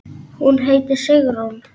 Hún heitir Sigrún.